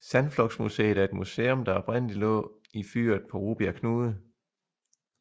Sandflugtsmuseet er et museum der oprindeligt lå i fyret på Rubjerg Knude